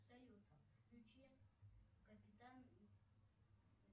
салют включи капитан